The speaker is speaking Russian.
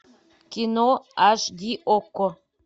кино аш ди окко